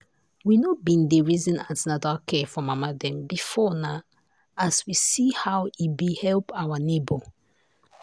we no been dey reason an ten atal care for mama dem before na as we see how e been help our neighbor.